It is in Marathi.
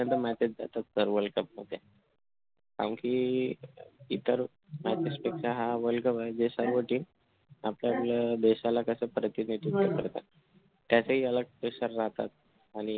त्यामध्ये message जातात कारण कि इतर matches पेक्षा हा world cup जे सर्व team आपल्या देशाला कशी प्रतिमा त्याचंही अलग pressure राहतात